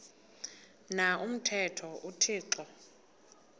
na umthetho uthixo